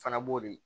Fana b'o de